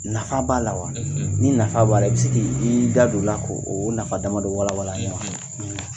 Nafa b'a la wa? . Ni nafa b'a la, i bɛ se k'i i da don o la k'o o nafa damadɔ walawala an ye wa.